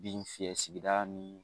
Bin fiyɛ sigida nin